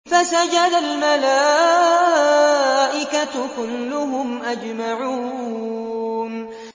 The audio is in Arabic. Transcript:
فَسَجَدَ الْمَلَائِكَةُ كُلُّهُمْ أَجْمَعُونَ